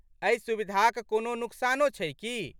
एहि सुविधाक कोनो नुकसानो छै कि?